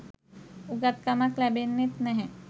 උගත් කමක් ලැබෙන්නෙත් නැහැ.